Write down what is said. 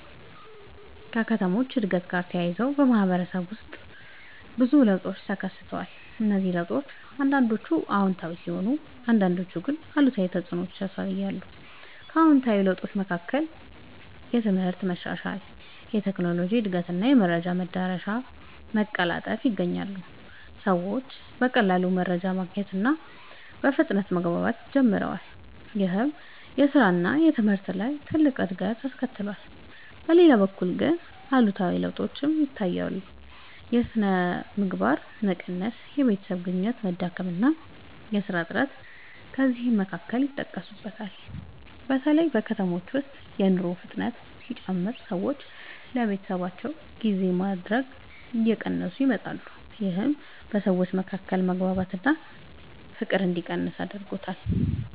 ከከተሞች እድገት ጋር ተያይዞ በማህበረሰብ ውስጥ ብዙ ለውጦች ተከስተዋል። እነዚህ ለውጦች አንዳንዶቹ አዎንታዊ ሲሆኑ አንዳንዶቹ ግን አሉታዊ ተፅዕኖ ያሳያሉ። ከአዎንታዊ ለውጦች መካከል የትምህርት መሻሻል፣ የቴክኖሎጂ እድገት እና የመረጃ መዳረሻ መቀላጠፍ ይገኛሉ። ሰዎች በቀላሉ መረጃ ማግኘት እና በፍጥነት መግባባት ጀምረዋል። ይህም በስራ እና በትምህርት ላይ ትልቅ እድገት አስከትሏል። በሌላ በኩል ግን አሉታዊ ለውጦችም ታይተዋል። የሥነ ምግባር መቀነስ፣ የቤተሰብ ግንኙነት መዳከም እና የሥራ እጥረት ከእነዚህ መካከል ይጠቀሳሉ። በተለይ በከተሞች ውስጥ የኑሮ ፍጥነት ሲጨምር ሰዎች ለቤተሰባቸው ጊዜ ማድረግ እየቀነሰ መጥቷል። ይህም በሰዎች መካከል መግባባት እና ፍቅር እንዲቀንስ አድርጓል።